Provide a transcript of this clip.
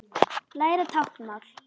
Læra táknmál